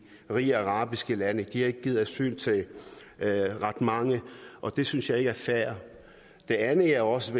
rige arabiske lande har ikke givet asyl til ret mange det synes jeg ikke er fair det andet jeg også